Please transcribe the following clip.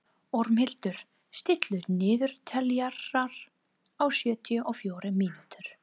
Ormhildur, stilltu niðurteljara á sjötíu og fjórar mínútur.